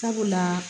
Sabula